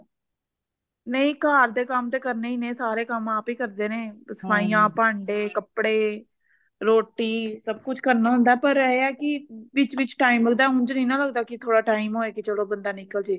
ਨਹੀਂ ਘਰ ਦੇ ਕੰਮ ਤੇ ਕਰਨੇ ਹੀ ਨੇ ਸਾਰੇ ਕੰਮ ਆਪ ਹੀ ਕਰਦੇ ਨੇ ਸਫਾਇਆ ਭਾਂਡੇ ਕੱਪੜੇ ਰੋਟੀ ਸਭ ਕੁਛ ਕਰਨਾ ਹੁੰਦਾ ਪਰ ਇਹ ਹੈ ਕਿ ਵਿੱਚ ਵਿੱਚ time ਮਿਲਦਾ ਉਂਝ ਨਹੀਂ ਨਾ ਮਿਲਦਾ ਕਿ ਥੋੜਾ time ਹੋਏ ਕਿ ਚਲੋ ਕੀ ਬੰਦਾ ਨਿਕਲ ਜੇ